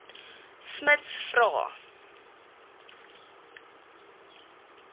smuts vra